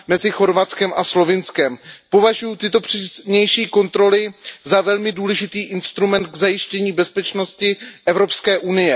mezi Chorvatskem a Slovinskem, považuji tyto přísnější kontroly za velmi důležitý instrument k zajištění bezpečnosti EU.